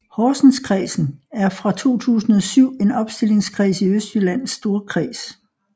Horsenskredsen er fra 2007 en opstillingskreds i Østjyllands Storkreds